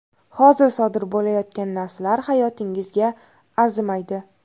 Hozir sodir bo‘layotgan narsalar hayotingizga arzimaydi.